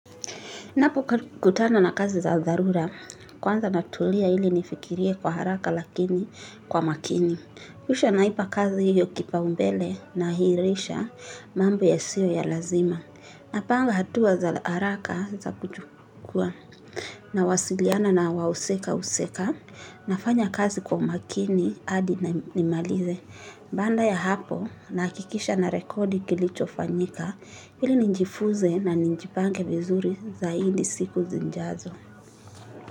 Napo kutana na kazi za darura, kwanza natulia ili nifikiria kwa haraka lakini kwa makini. Kisha naipa kazi hiyo kipa umbele na hirisha mambo ya siyo ya lazima. Napanga hatua za haraka za kujukua na wasiliana na wausika usika na fanya kazi kwa umakini adi na nimalize. Banda ya hapo na kikisha na rekodi kilicho fanyika hili ninjifuze na ninjipanke vizuri zaidi siku zinjazo.